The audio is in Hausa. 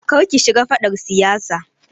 Kar ki shiga faɗar siyasa.